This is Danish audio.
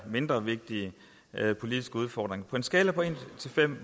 mindre vigtig politisk udfordring på en skala fra en til fem